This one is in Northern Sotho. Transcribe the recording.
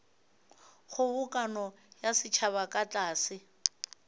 kgobokano ya setšhaba ka tlase